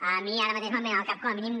a mi ara mateix me’n venen al cap com a mínim